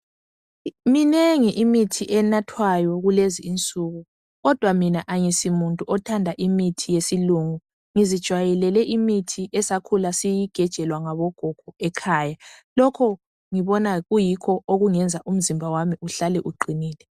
MINENGI IMITHI ENATHWAYO KULEZI INSUKU KODWA MINA ANGISO MUNTU OTHANDA IMITHI YESILUNGI NGIKHULE NGINATHA ESASIYIGEJELWA NGOGOGO LOKHO YIKHO ENGIBONA ANGANI KUNGAYENZA UMZIMBA WAMI UHLALE UQINILE.